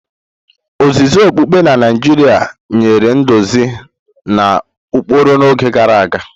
Ozizi okpukpe na Naijiria nyere nduzi na ụkpụrụ n'oge gara aga.